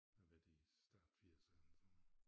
Har været i start firserne sådan noget